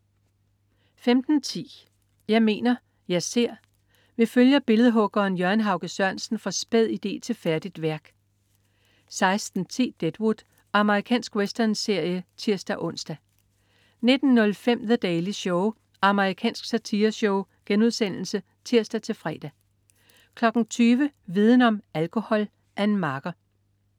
15.10 Jeg mener, jeg ser. Vi følger billedhuggeren Jørgen Hauge Sørensen fra spæd idé til færdigt værk 16.10 Deadwood. Amerikansk westernserie (tirs-ons) 19.05 The Daily Show. Amerikansk satireshow* (tirs-fre) 20.00 Viden om: Alkohol. Ann Marker